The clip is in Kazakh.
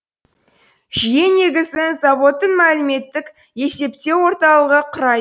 жүйе негізін заводтың мәліметтік есептеу орталығы құрайды